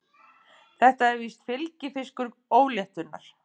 Þetta er víst fylgifiskur óléttunnar.